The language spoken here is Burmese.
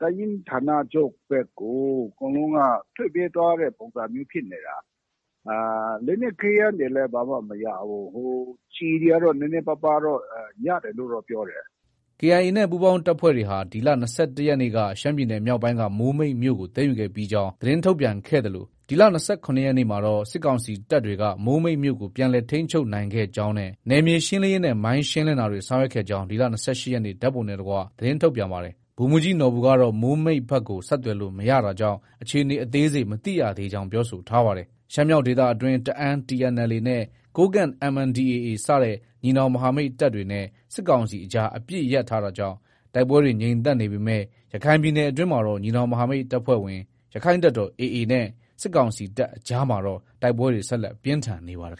တပ်ရင်းဌာနချုပ်ဘက်ကို အကုန်လုံးက ထွက်ပြေးသွားတဲ့ ပုံစံမျိုးဖြစ်နေတာ။ လက်နက်ခဲယမ်းတွေလည်း ဘာမှ မရဘူး။ ကျည်တွေကတော့ နည်းနည်းပါးပါးတော့ ရတယ်လို့တော့ ပြောတယ်။ ” KIA နဲ့ ပူးပေါင်းတပ်ဖွဲ့တွေဟာ ဒီလ ၂၁ရက်နေ့က ရှမ်းပြည်နယ်မြောက်ပိုင်းက မိုးမိတ်မြို့ကို သိမ်းယူခဲ့ပြီး ကြောင်း သတင်းထုတ်ပြန်ခဲ့သလိုဒီလ ၂၇ရက်နေ့မှာတော့ စစ်ကောင်စီတပ်တွေက မိုးမိတ်မြို့ကို ပြန်လည် ထိန်းချုပ်နိုင်ခဲ့ကြောင်းနဲ့ နယ်မြေရှင်းလင်းရေး နဲ့ မိုင်းရှင်းလင်းတာတွေ ဆောင်ရွက်ခဲ့ကြောင်း ဒီလ ၂၈ရက်နေ့ ဓါတ်ပုံနဲ့တကွ သတင်းထုတ်ပြန်ပါတယ်။ ဗိုလ်မှူးကြီးနော်ဘူကတော့ မိုးမိတ်ဘက်ကို ဆက်သွယ်လို့ မရတာကြောင့် အခြေအနေ အသေးစိတ် မသိရကြောင်း ပြောဆိုထားပါတယ်။ ရှမ်းမြောက်ဒေသအတွင်း တအာင်း TNLA နဲ့ ကိုးကန့် MNDAA စတဲ့ညီနောင်မဟာမိတ်တပ်တွေနဲ့ စစ်ကောင်စီအကြား အပစ်ရပ်ထားတာကြောင့် တိုက်ပွဲတွေ ငြိမ်သက်နေပေမဲ့ ရခိုင်ပြည်နယ်အတွင်းမှာတော့ ညီနောင်မဟာမိတ်အဖွဲ့ဝင် ရခိုင်တပ်တော် AA နဲ့ စစ်ကောင်စီတပ်အကြားမှာ တိုက်ပွဲတွေ ဆက်လက် ပြင်းထန်နေပါတယ်